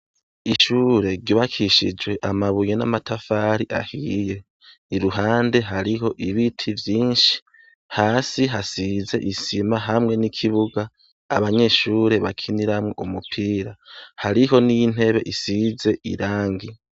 Ishure ryubakishijwe amabuye n'amatafari ahiye. Iruhande hariho ibiti vyinshi, hasi hasize isima hamwe n'ikibuga abanyeshure bakiniramwo umupira. Hariho n'intebe isize irangi.